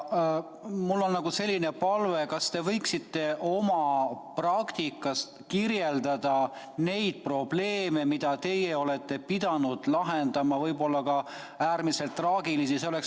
Mul on selline palve: kas te võiksite oma praktika põhjal kirjeldada probleeme, mida teie olete pidanud lahendama, võib-olla ka äärmiselt traagilisi?